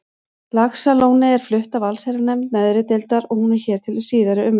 Laxalóni er flutt af allsherjarnefnd neðri deildar og hún er hér til síðari umræðu.